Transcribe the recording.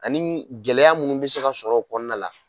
Ani gɛlɛya minnu bɛ se ka sɔrɔ o kɔnɔna la